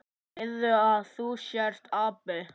Segðu að þú sért api!